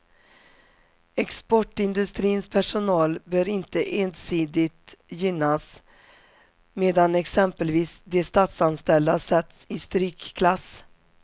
Exportindustrins personal bör inte ensidigt gynnas, medan exempelvis de statsanställda sätts i strykklass.